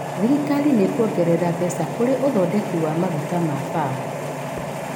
Thirikari nĩĩkuongerera mbeca kũrĩ ũthondeki wa maguta ma Palm